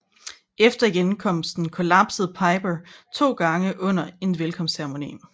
Efter hjemkomsten kollapsede Piper to gange under en velkomstceremoni